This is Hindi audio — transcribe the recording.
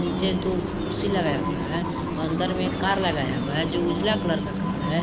नीचे में दो कुर्सी लगा है अंदर में कार लगाया हुआ है जो उजला कलर का कार है।